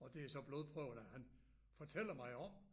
Og det er så blodprøverne han fortæller mig om